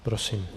Prosím.